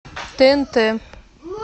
тнт